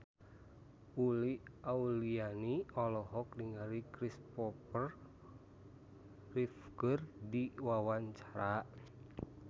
Uli Auliani olohok ningali Christopher Reeve keur diwawancara